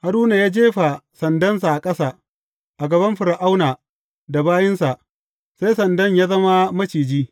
Haruna ya jefa sandansa ƙasa, a gaban Fir’auna da bayinsa, sai sandan ya zama maciji.